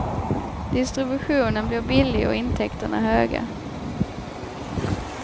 Distributionen blir billig och intäkterna höga.